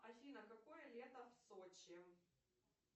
афина какое лето в сочи